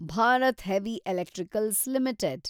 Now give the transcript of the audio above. Bharat heavy electricals limited